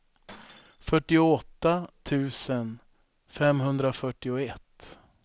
fyrtioåtta tusen femhundrafyrtioett